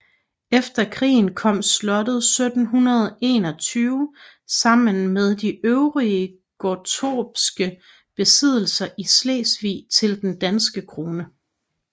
Efter krigen kom slottet 1721 sammen med de øvrige gottorpske besiddelser i Slesvig til den danske krone